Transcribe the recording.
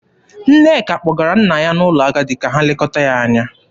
Nneka kpọgara nna ya n'ụlọ ndị agadi ka ha lekọta ya anya.